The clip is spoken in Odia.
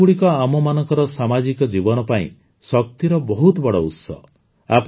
ଏହି ମେଳାଗୁଡ଼ିକ ଆମମାନଙ୍କର ସାମାଜିକ ଜୀବନ ପାଇଁ ଶକ୍ତିର ବହୁତ ବଡ଼ ଉତ୍ସ